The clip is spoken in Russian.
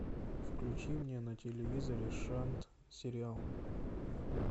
включи мне на телевизоре шант сериал